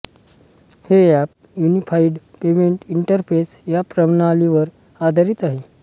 हे app unified payment interface या प्रणालीवर आधारित आहे